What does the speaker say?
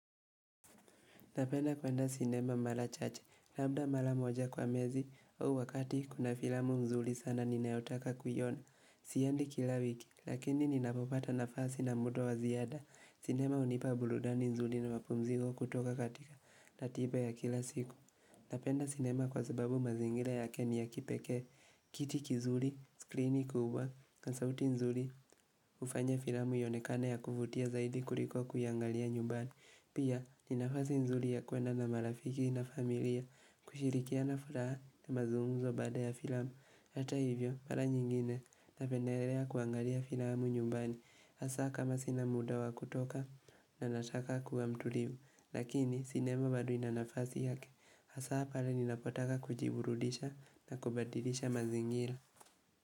Napenda kwenda sinema mala chache, labda mala moja kwa miezi, au wakati kuna filamu mzuli sana ninaotaka kuiona. Siendi kila wiki, lakini ninapopata nafasi na mudo waziada. Sinema unipa buludani mzuli na wapumzigo kutoka katika na tipa ya kila siku. Napenda sinema kwa zababu mazingira ya ke ni ya kipekee. Kiti kizuli, skrini kubwa, kasauti mzuli, ufanya filamu yaonekane ya kuvutia zaidi kuliko kuiangalia nyumbani. Pia, ninafazi nzuri ya kuenda na marafiki na familia, kushirikia na furaha na mazumuzo baada ya filamu, hata hivyo para nyingine na penderea kuangalia filamu nyumbani, hasa kama sinamudawa kutoka na nataka kuwa mtuliu, lakini sinema bado inanafazi yake, hasa pale ninapotaka kujiburudisha na kubadilisha mazingira.